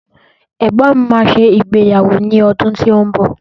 Egbọ́n mi máa ṣe ìgbéyàwó ní ọdún tí ó ń bọ̀